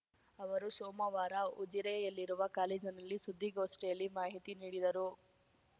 ಅವರು ಸೋಮವಾರ ಉಜಿರೆಯಲ್ಲಿರುವ ಕಾಲೇಜಿನಲ್ಲಿ ಸುದ್ದಿಗೋಷ್ಠಿಯಲ್ಲಿ ಮಾಹಿತಿ ನೀಡಿದರು